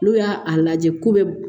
N'u y'a a lajɛ ko bɛ